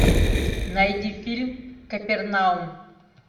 найди фильм капернаум